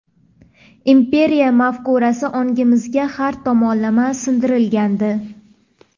imperiya mafkurasi ongimizga har tomonlama singdirilgandi.